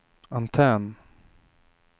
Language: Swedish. antenn